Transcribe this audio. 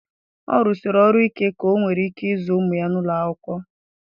Ọ rụsịrị ọrụ ike ka onwere ike ịzụ ụmụ ya n'ụlọ akwụkwọ.